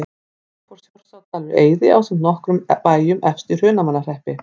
Þá fór Þjórsárdalur í eyði ásamt nokkrum bæjum efst í Hrunamannahreppi.